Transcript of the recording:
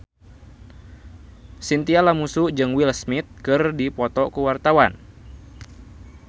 Chintya Lamusu jeung Will Smith keur dipoto ku wartawan